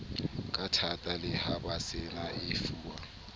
kathata le ha baseba efuwa